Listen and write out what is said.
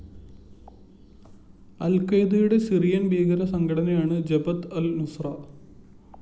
അല്‍ഖ്വയ്ദയുടെ Syrian‍ ഭീകരസംഘടനയാണ് Jabhat al‍ Nusra